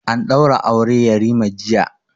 An ɗaura aure yarima jiya